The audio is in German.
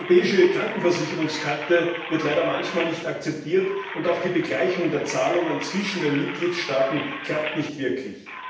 Die Europäische Krankenversicherungskarte wird leider manchmal nicht akzeptiert, und auch die Begleichung der Zahlungen zwischen den Mitgliedstaaten klappt nicht wirklich.